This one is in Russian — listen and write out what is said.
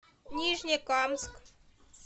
нижнекамск